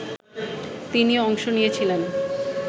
তিনিও অংশ নিয়েছিলেন